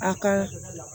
A ka